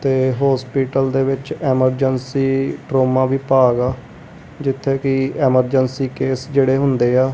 ਤੇ ਹੋਸਪੀਟਲ ਦੇ ਵਿੱਚ ਐਮਰਜੰਸੀ ਟਰੋਮਾ ਵਿਭਾਗ ਆ ਜਿੱਥੇ ਕਿ ਐਮਰਜਂਸੀ ਕੇਸ ਜਿਹੜੇ ਹੁੰਦੇ ਆ।